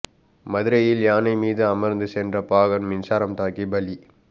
மதுரையில் யானை மீது அமர்ந்து சென்ற பாகன் மின்சாரம் தாக்கி பலி